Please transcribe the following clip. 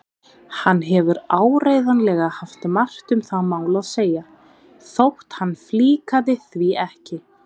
Hann hefur áreiðanlega haft margt um það mál að segja þótt hann flíkaði því ekki.